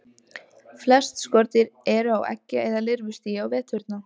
Flest skordýr eru á eggja- eða lirfustigi á veturna.